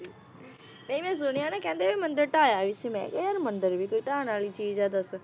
ਨਹੀਂ ਮੈ ਸੁਣਿਆ ਨਾ ਕਹਿੰਦੇ ਵੀ ਮੰਦਿਰ ਢਾਯਾ ਵੀ ਸੀ ਮੈ ਕਿਹਾ ਯਾਰ ਮੰਦਿਰ ਵੀ ਕੋਈ ਢਾਨ ਵਾਲੀ ਚੀਜ਼ ਆ ਦੱਸ